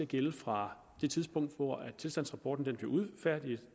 gælde fra det tidspunkt hvor tilstandsrapporten bliver udfærdiget